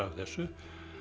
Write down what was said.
þessu